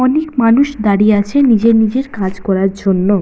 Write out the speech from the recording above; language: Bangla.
অনেক মানুষ দাঁড়িয়ে আছে নিজের নিজের কাজ করার জন্য।